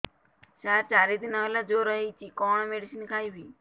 ସାର ଚାରି ଦିନ ହେଲା ଜ୍ଵର ହେଇଚି କଣ ମେଡିସିନ ଖାଇବି